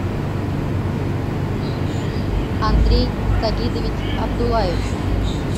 андрей сагидович абдуллаев